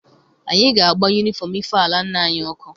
Anyị ga-agba yunifọm ife ala nna anyị ọkụ.